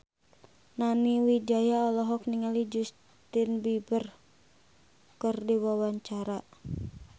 Nani Wijaya olohok ningali Justin Beiber keur diwawancara